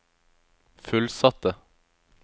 fullsatte